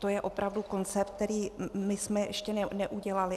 To je opravdu koncept, který jsme my ještě neudělali.